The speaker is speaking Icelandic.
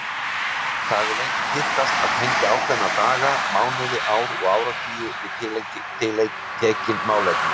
Það hefur lengi tíðkast að tengja ákveðna daga, mánuði, ár og áratugi við tiltekin málefni.